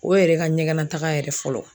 O yɛrɛ ka ɲɛgɛnataga yɛrɛ fɔlɔ